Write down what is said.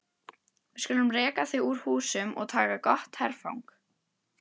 Við skulum reka þau úr húsum og taka gott herfang!